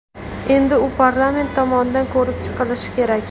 Endi u parlament tomonidan ko‘rib chiqilishi kerak.